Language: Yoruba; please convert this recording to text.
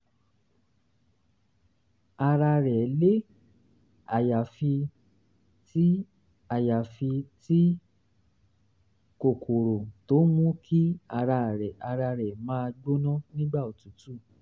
ara rẹ̀ le àyàfi tí àyàfi tí um kòkòrò tó ń mú kí ara rẹ̀ máa gbóná nígbà òtútù